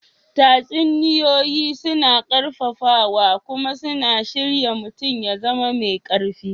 Tatsuniyoyi suna ƙarfafawa kuma suna shirya mutum ya zama mai ƙarfi.